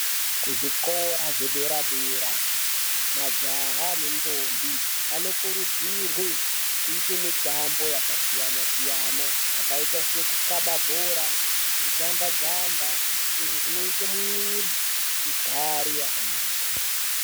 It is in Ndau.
Kuzvikora zvedera-dera, majaha nendombi anokurudzirwe kuyite mitambo yakasiyana-siyana, yakaita sekukaba bhora, kujamba-jamba, izvi zvinoite mwiri igare yakanaka.